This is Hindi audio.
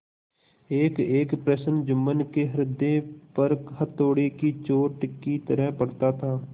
एकएक प्रश्न जुम्मन के हृदय पर हथौड़े की चोट की तरह पड़ता था